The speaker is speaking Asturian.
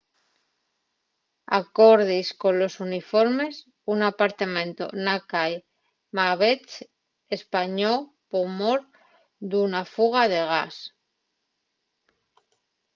acordies colos informes un apartamentu na cai macbeth españó por mor d’una fuga de gas